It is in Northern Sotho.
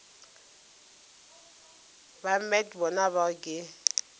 ba met bona bao ke